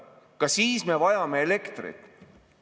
Ka siis me vajame elektrit.